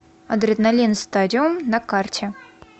адреналин стадиум на карте